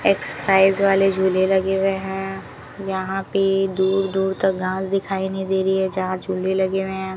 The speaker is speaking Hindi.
एक्सरसाइज वाले झूले लगे हुए हैं यहां पे दूर दूर तक गांव दिखाई नहीं दे रही है जहां झूले लगे हुए हैं।